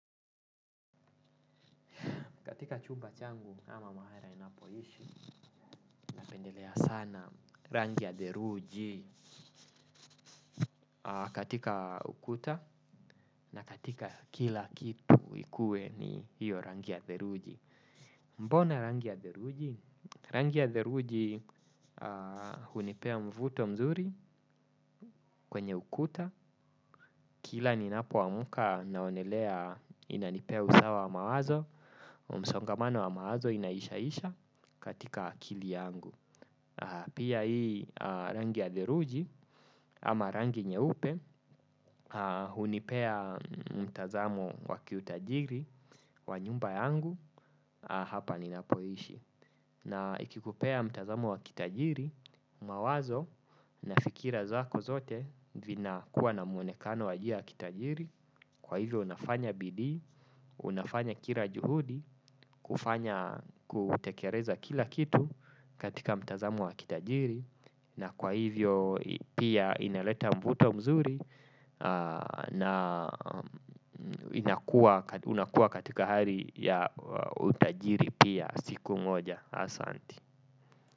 Katika chumba changu ama mahali ninapoishi napendelea sana rangi ya theluji. Katika ukuta na katika kila kitu ikuwe ni hiyo rangi ya theluji. Mbona rangi ya theluji? Rangi ya theluji hunipea mvuto mzuri kwenye ukuta. Kila ninapoamka naonelea inanipea usawa wa mawazo msongamano wa mawazo inaishaisha katika akili yangu. Pia hii rangi ya theluji ama rangi nyeupe hunipea mtazamo wakiutajiri wa nyumba yangu hapa ninapoishi. Na ikikupea mtazamo wa kitajiri mawazo na fikira zako zote vina kuwa na mwonekano wa njia ya kitajiri. Kwa hivyo unafanya bidii, unafanya kila juhudi, kufanya kutekeleza kila kitu katika mtazamo wa kitajiri. Na kwa hivyo pia inaleta mvuto mzuri na unakua katika hali ya utajiri pia siku moja asanti.